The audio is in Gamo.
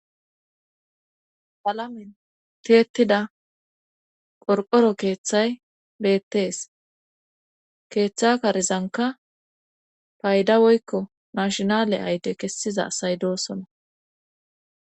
Palamen teetida qorqoro keeththay beettees keeththa karizanka payda woykko mashinale ayte kessiza asay doosona